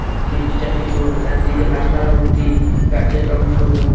তিনটি চারটি লোক চারদিকে গাছপালা ভর্তি গাছের রং সবুজ।